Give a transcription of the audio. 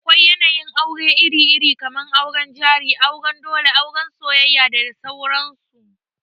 Akwai yanayin aure iri-iri, kamar auren jari, auren dole, auran soyayya da sauran su.